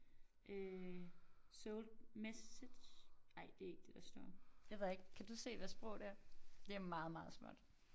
Øh sold message ej det ikke det der står det ved jeg ikke kan du se hvad sprog det er? Det er meget meget småt